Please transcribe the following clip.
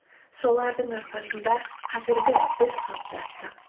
солардың арқасында қазіргі біз қалыптастық